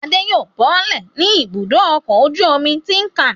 Adé yóò bọ́lẹ̀ ní Ibùdó-ọkọ̀ ojú-omi Tin Can.